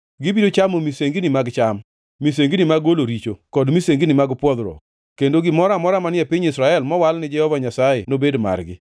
Gibiro chamo misengini mag cham, misengini mag golo richo kod misengini mag pwodhruok; kendo gimoro amora manie piny Israel mowal ni Jehova Nyasaye nobed margi.